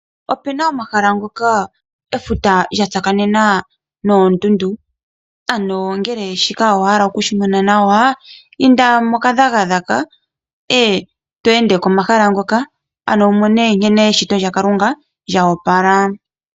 Opena omahala ngoka efuta lyatsakanena noondundu ano ngele owa hala okumona nawa ehala ndika inda mokadhagadhaga ngoye wu tale nkene eshito lyaKalunga lyoopala.